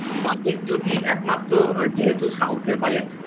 Budget যদি একমাত্র যেহেতু south এর budget